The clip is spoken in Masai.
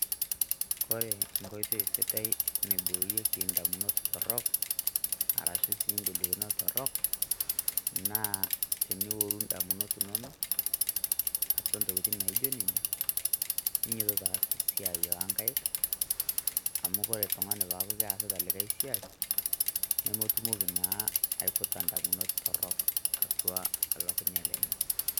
Kore enkoitoi sidai naiboorieki indamunot torrok, arashu si igolikinot torrok, naa tenioru indamunot inonok, atua ntokiting' naijo nena, ninyotito aas esiai onkaik, amu kore oltung'ani pooku keasita likae siai, nemetumoki naa aiputa indamunot torrok atua olukunya lenye.